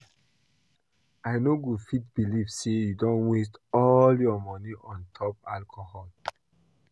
I no go fit believe say you don waste all your money on top alcohol